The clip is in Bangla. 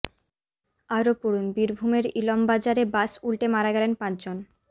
আরও পড়ুন বীরভূমের ইলমবাজারে বাস উল্টে মারা গেলেন পাঁচ জন